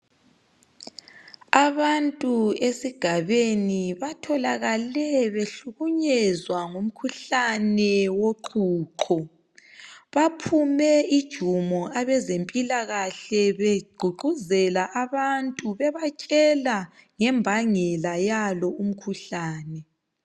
Abantu esigabeni batholakale behlukunyezwa ngumkhuhlane woqhuqho baphume ijumo abezempilakahle begqugquzela abantu bebatshela ngembangela yalo umkhuhlane.